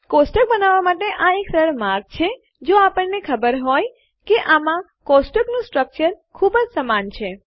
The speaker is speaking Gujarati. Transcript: ટેબલો બનાવવાં માટે આ એક સરળ માર્ગ છે જો આપણે હોઈએ કે આમાં ટેબલનું સ્ટ્રકચર માળખું ખૂબ જ સમાન છે